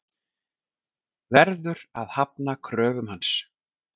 Verður að hafna kröfum hans.